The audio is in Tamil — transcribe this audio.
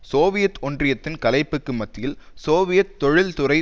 சோவியத் ஒன்றியத்தின் கலைப்புக்கு மத்தியில் சோவியத் தொழில் துறை